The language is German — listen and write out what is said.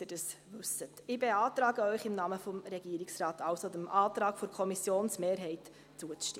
Ich beantrage Ihnen also im Namen des Regierungsrates, dem Antrag der Kommissionsmehrheit zuzustimmen.